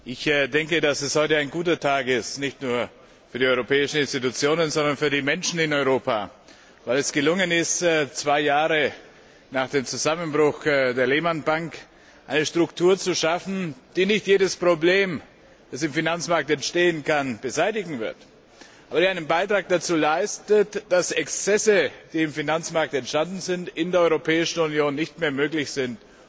Ich denke, dass heute ein guter Tag ist, nicht nur für die Europäischen Institutionen, sondern für die Menschen in Europa, weil es gelungen ist, zwei Jahre nach dem Zusammenbruch der Lehman Bank eine Struktur zu schaffen, die zwar nicht jedes Problem, das im Finanzmarkt entstehen kann, beseitigen wird, die aber einen Beitrag dazu leistet, dass Exzesse, die im Finanzmarkt entstanden sind, in der Europäischen Union nicht mehr möglich sind.